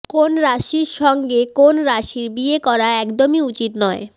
কোন রাশির সঙ্গে কোন রাশির বিয়ে করা একদমই উচিত নয়